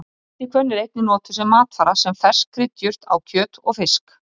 Ætihvönn er einnig notuð sem matvara, sem fersk kryddjurt á kjöt og fisk.